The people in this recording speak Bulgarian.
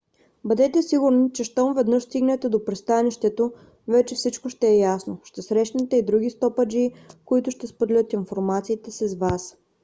бъдете сигурни че щом веднъж стигнете до пристанището вече всичко ще е ясно. ще срещнете и други стопаджии които ще споделят информацията си с вас